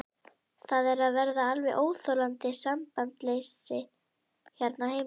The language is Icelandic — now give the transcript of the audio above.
Það er að verða alveg óþolandi sambandsleysi hérna á heimilinu!